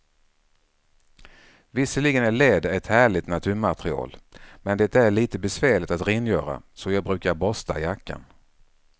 Visserligen är läder ett härligt naturmaterial, men det är lite besvärligt att rengöra, så jag brukar borsta jackan.